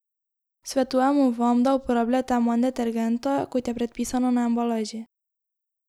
Svetujemo vam, da uporabljate manj detergenta, kot je predpisano na embalaži.